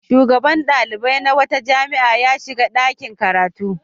Shugaban ɗalibai na wata jami'a ya shiga ɗakin karatu.